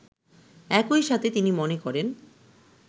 একইসাথে তিনি মনে করেন